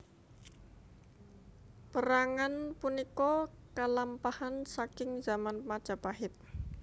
Pérangan punika kalampahan saking zaman Majapahit